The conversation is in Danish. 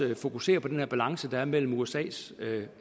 vil fokusere på den balance der er mellem usas